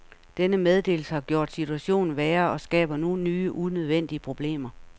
Denne meddelelse har gjort situationen værre og skaber nu nye unødvendige problemer.